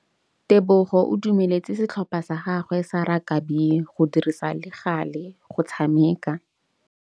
Tebogô o dumeletse setlhopha sa gagwe sa rakabi go dirisa le galê go tshameka.